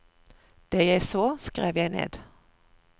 Det jeg så, skrev jeg ned.